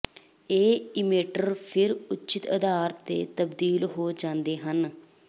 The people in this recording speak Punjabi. ਇਹ ਇਮੇਟਰ ਫਿਰ ਉਚਿਤ ਆਧਾਰ ਤੇ ਤਬਦੀਲ ਹੋ ਜਾਂਦੇ ਹਨ